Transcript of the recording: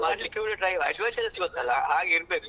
ಮಾಡ್ಲಿಕ್ಕೆ ಕೂಡ try ಮಾಡ್ಬಾರ್ದು adventures ಗೊತ್ತಲ್ವಾ ಹಾಗಿರ್ಬೇಕು.